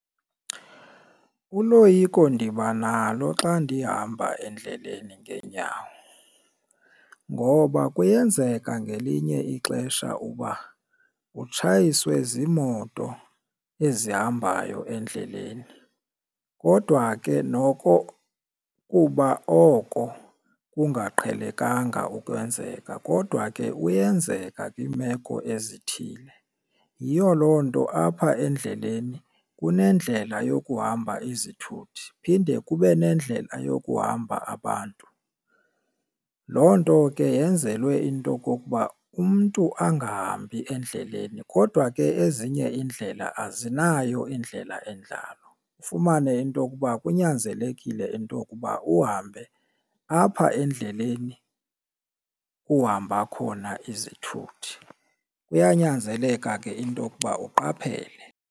Uloyiko ndiba nalo xa ndihamba endleleni ngeenyawo ngoba kuyenzeka ngelinye ixesha uba utshayiswe ziimoto ezihambayo endleleni kodwa ke noko kuba oko kungaqhelekanga ukwenzeka kodwa ke uyenzeka kwiimeko ezithile. Yiyo loo nto apha endleleni kunendlela yokuhamba izithuthi phinde kube nendlela yokuhamba abantu, loo nto ke yenzelwe into okokuba umntu angahambi endleleni. Kodwa ke ezinye iindlela azinayo indlela enjalo ufumane into okuba kunyanzelekile into okuba uhambe apha endleleni kuhamba khona izithuthi. Kuyanyanzeleka ke into okuba uqaphele.